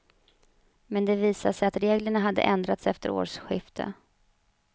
Men det visade sig att reglerna hade ändrats efter årsskiftet.